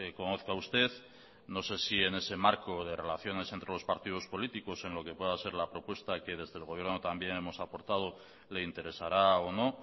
conozca usted no sé si en ese marco de relaciones entre los partidos políticos en lo que pueda ser la propuesta que desde el gobierno también hemos aportado le interesará o no